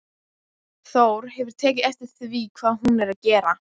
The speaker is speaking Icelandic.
Þór hefur tekið eftir því hvað hún er að gera.